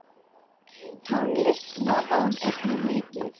Tónlist notaði hún einnig mikið.